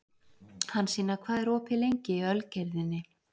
Hansína, hvað er opið lengi í Ölgerðinni?